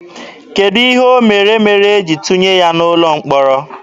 Kedụ ihe o mere mere e jiri tụnye ya n'ụlọ mkpọrọ?